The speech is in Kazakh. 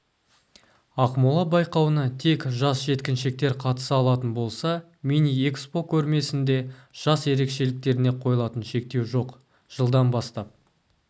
ақмола байқауына тек жас-жеткіншектер қатыса алатын болса миниэкспо көрмесінде жас ерекшеліктеріне қойылатын шектеу жоқ жылдан бастап